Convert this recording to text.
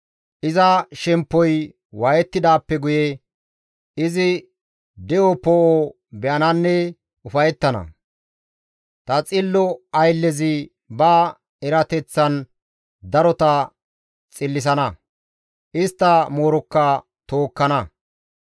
Iza shemppoy waayettidaappe guye izi de7o poo7o be7ananne ufayettana. Ta xillo ayllezi ba erateththan darota xillisana; istta moorokka tookkana.